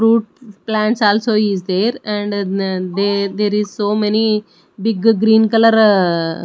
fruit plants also is there and n they there is so many big green colour.